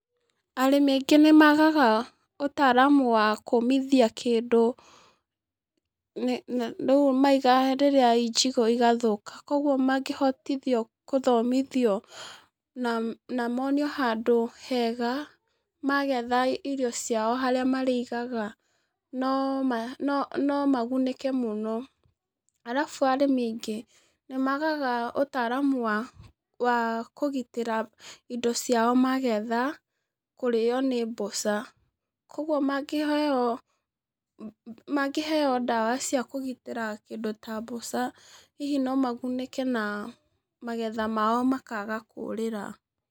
Arĩmi aingĩ nĩmagaga ũtaramu wa kũmithia kĩndũ, nĩ na rĩrĩa maiga i njigũ igathũka, koguo mangíhotithio kũthomithio na namonio handũ hega magetha irio ciao harĩa marĩigaga, noma, nomagunĩke mũno, arabu arĩmi aingĩ nĩmagaga ũtaramu wa, wa kũgitĩra indo ciao magetha, kũrĩo nĩ mboca, koguo mangĩheo, ma mangĩheo ndawa cia kũgitĩra kĩndũ ta mboca, hihi nomagunĩke na magetha mao makaga kũrĩra.